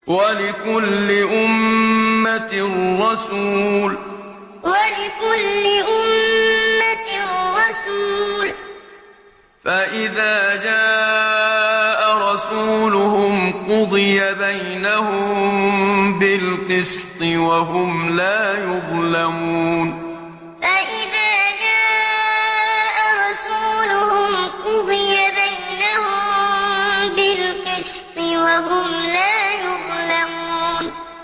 وَلِكُلِّ أُمَّةٍ رَّسُولٌ ۖ فَإِذَا جَاءَ رَسُولُهُمْ قُضِيَ بَيْنَهُم بِالْقِسْطِ وَهُمْ لَا يُظْلَمُونَ وَلِكُلِّ أُمَّةٍ رَّسُولٌ ۖ فَإِذَا جَاءَ رَسُولُهُمْ قُضِيَ بَيْنَهُم بِالْقِسْطِ وَهُمْ لَا يُظْلَمُونَ